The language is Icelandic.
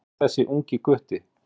En hver er þessi ungi gutti?